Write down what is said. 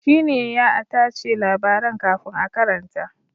Shi ne ya a tace labaran kafin a karanta.